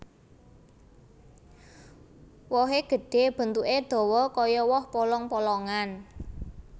Wohé gedhé bentuké dawa kaya woh polong polongan